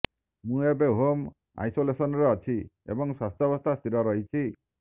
ମୁଁ ଏବେ ହୋମ୍ ଆଇସୋଲେସନରେ ଅଛି ଏବଂ ସ୍ୱାସ୍ଥ୍ୟବସ୍ଥା ସ୍ଥିର ରହିଛି